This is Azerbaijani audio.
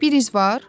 Bir iz var?